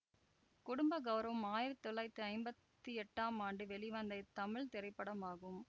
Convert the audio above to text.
குடும்ப கௌரவம் ஆயிரத்தி தொள்ளாயிரத்தி ஐம்பத்தி எட்டாம் ஆண்டு வெளிவந்த தமிழ் திரைப்படமாகும்